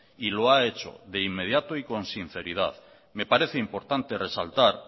y lo ha hecho de inmediato y con sinceridad me parece importante resaltar